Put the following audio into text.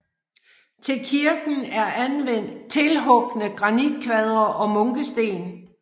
Til kirken er anvendt tilhugne granitkvadre og munkesten